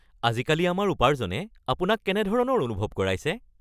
আজিকালি আমাৰ উপাৰ্জনে আপোনাক কেনেধৰণৰ অনুভৱ কৰাইছে?